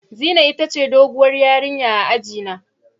Zinai ita ce doguwar ƴarinya a aji na.